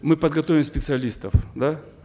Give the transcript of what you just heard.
мы подготовили специалистов да